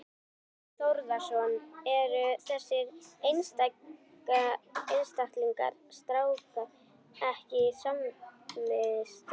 Þorbjörn Þórðarson: Eru þessir einstaklingar skráðir ekki í samvistum?